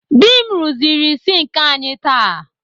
Dị m rụziri sinki anyị taa.